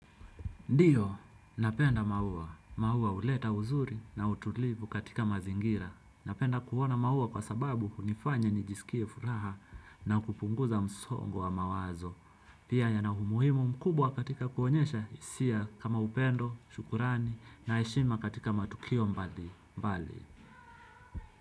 Ndiyo, napenda maua. Maua huleta uzuri na utulivu katika mazingira. Napenda kuona maua kwa sababu hunifanya nijisikie furaha na kupunguza msongo wa mawazo. Pia yana umuhimu mkubwa katika kuonyesha hisia kama upendo, shukrani na heshima katika matukio mbalimbali.